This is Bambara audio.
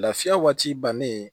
Lafiya waati bannen